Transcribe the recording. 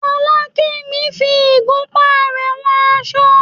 Fọlákẹ́mi ń fi igunpá rẹ̀ wọn aṣọ.